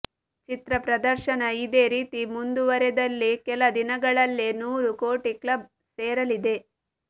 ಚಿತ್ರ ಪ್ರದರ್ಶನ ಇದೇ ರೀತಿ ಮುಂದುವರೆದಲ್ಲಿ ಕೆಲ ದಿನಗಳಲ್ಲೇ ನೂರು ಕೋಟಿ ಕ್ಲಬ್ ಸೇರಲಿದೆ